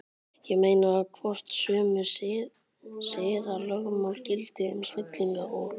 Ég meina, hvort sömu siðalögmál gildi um snillinga og